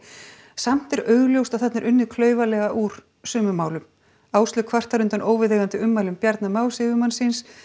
samt er augljóst að þarna er unnið klaufalega úr sumum málum Áslaug kvartar undan óviðeigandi ummælum Bjarna Más yfirmanns síns